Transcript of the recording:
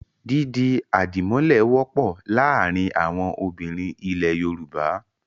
Dídi àdìmọ́lẹ̀ wọ́pọ̀ láàárin àwọn obìnrin ilẹ̀ Yorùbá.